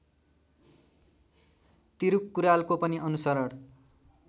तिरुक्कुरालको पनि अनुसरण